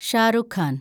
Shah Rukh Khan